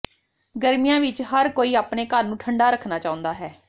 ਗਰਮੀਆਂ ਵਿਚ ਹਰ ਕੋਈ ਅਪਣੇ ਘਰ ਨੂੰ ਠੰਡਾ ਰੱਖਣਾ ਚਾਹੁੰਦਾ ਹੈ